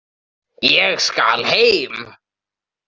Ég skal heim.